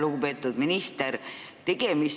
Lugupeetud minister!